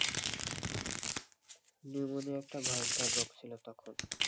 pneumonia একটা ভয়ঙ্কর রোগ ছিল তখন,